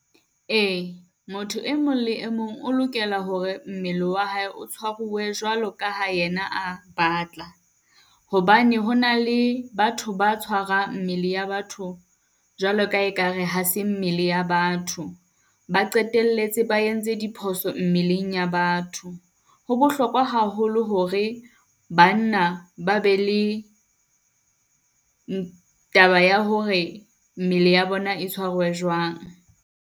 Ee, motho e mong le e mong o lokela hore mmele wa hae tshwaruwe jwalo ka ha yena a batla. Hobane ho na le batho ba tshwarang mmele ya batho jwalo ka e kare ha se mmele ya batho. Ba qetelletse ba entse diphoso mmeleng ya batho. Ho bohlokwa haholo hore banna ba be le taba ya hore mmele ya bona e tshwaruwe jwang.